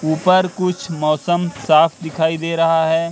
ऊपर कुछ मौसम साफ दिखाई दे रहा है।